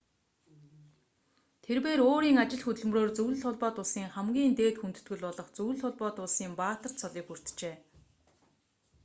тэрбээр өөрийн ажил хөдөлмөрөөр зөвлөлт холбоот улсын хамгийн дээд хүндэтгэл болох зөвлөлт холбоот улсын баатар цолыг хүртжээ